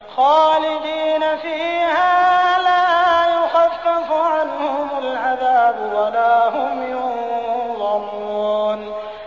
خَالِدِينَ فِيهَا ۖ لَا يُخَفَّفُ عَنْهُمُ الْعَذَابُ وَلَا هُمْ يُنظَرُونَ